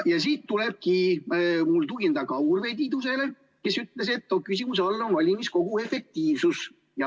Ja siin tulebki mul tugineda Urve Tiidusele, kes ütles, et küsimuse all on valimiskogu efektiivsus.